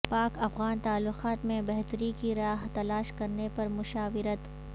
پاک افغان تعلقات میں بہتری کی راہ تلاش کرنے پر مشاورت